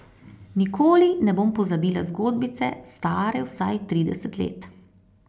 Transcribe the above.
Nikoli ne bom pozabila zgodbice, stare vsaj trideset let.